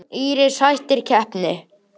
Íris hættir keppni